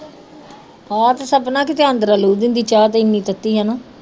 ਆ ਤੇ ਸਪਨਾ ਕਿਤੇ ਆਂਦਰਾਂ ਲੂ ਦਿੰਦੀ ਚਾਹ ਤੇ ਇਹ ਨੀ ਤੱਤੀ ਆ ਨਾ